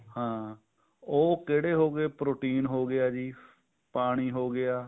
ਹਾਂ ਉਹ ਕਿਹੜੇ ਹੋਗੇ protein ਜੀ ਪਾਣੀ ਹੋਗਿਆ